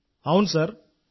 అవును అవును సార్